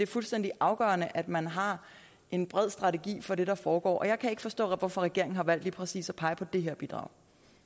fuldstændig afgørende at man har en bred strategi for det der foregår og jeg kan ikke forstå hvorfor regeringen har valgt lige præcis at pege på det her bidrag